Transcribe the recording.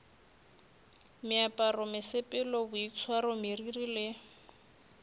meaparo mesepelo boitshwaro meriri le